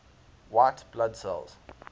white blood cells